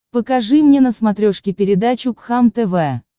покажи мне на смотрешке передачу кхлм тв